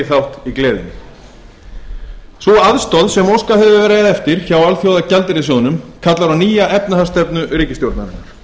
þátt í gleðinni sú aðstoð sem óskað hefur verið eftir hjá alþjóðagjaldeyrissjóðnum kallar á nýja efnahagsstefnu ríkisstjórnarinnar